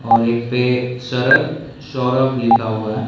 और एक पे सरद सौरभ लिखा हुआ हैं।